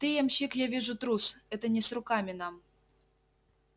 ты ямщик я вижу трус это не с руками нам